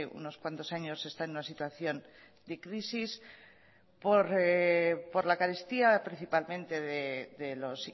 unos cuantos años se está en una situación de crisis por la carestía principalmente de los